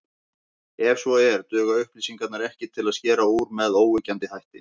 Ef svo er, duga upplýsingarnar ekki til að skera úr með óyggjandi hætti.